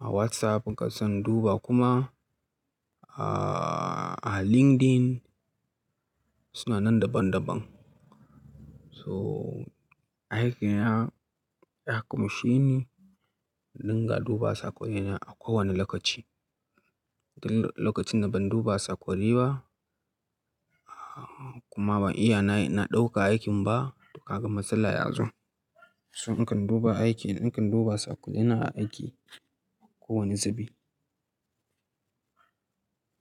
a WhatsApp. Nakan tsin duba kuma a, a LinkedIn, suna nan daban daban. So aikina ya kumshi ni dinga duba sakonina a kowane lokaci. Til lokacin da ban duba sakonai ba kuma ban iya na, na ɗauka aikin ba, to ka gan matsala ya zo. So nakan duba aiki, nakan duba sakonina a aiki kowane zubi.